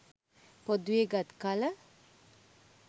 පොදුවේ ගත් කල